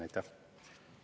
Aitäh!